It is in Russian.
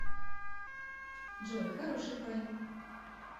джой хороший парень